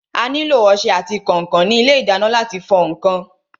A nílò ọsẹ àti kànkàn ní ilé ìdáná láti fọ ǹkan.